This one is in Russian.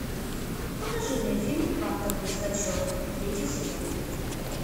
покажи мне фильм квантовый скачок третий сезон